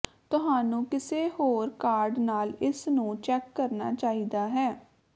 ਤੁਹਾਨੂੰ ਕਿਸੇ ਹੋਰ ਕਾਰਡ ਨਾਲ ਇਸ ਨੂੰ ਚੈੱਕ ਕਰਨਾ ਚਾਹੀਦਾ ਹੈ